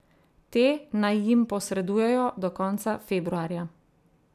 Te naj jim posredujejo do konca februarja.